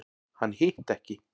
Hann hitti ekki.